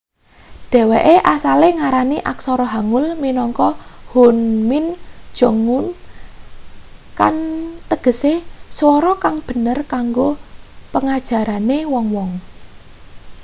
dheweke asale ngarani aksara hangeul minangka hunmin jeongum kang tegese swara kang bener kanggo pengajarane wong-wong